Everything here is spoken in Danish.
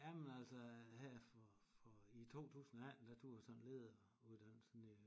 Jamen altså her for for i 2018 der tog jeg sådan lederuddannelsen i